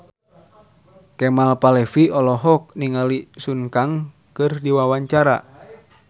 Kemal Palevi olohok ningali Sun Kang keur diwawancara